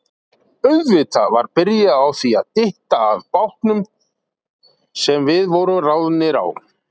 Auðvitað var byrjað á því að dytta að bátnum sem við vorum ráðnir á.